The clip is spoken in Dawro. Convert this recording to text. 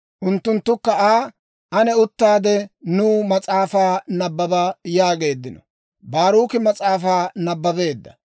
Unttunttukka Aa, «Ane uttaade, nuw mas'aafaa nabbaba» yaageeddino. Baaruki mas'aafaa nabbabeedda.